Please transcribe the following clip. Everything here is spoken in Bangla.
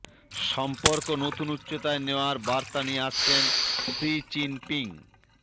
সম্পর্ক নতুন উচ্চতায় নেওয়ার বার্তা নিয়ে আসছেন সি চিন পিং